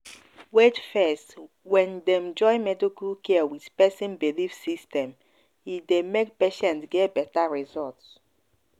wait fess when dem join medical care with person belief system e dey make patient get better result.